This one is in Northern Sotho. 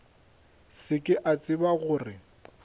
se ke a tseba gore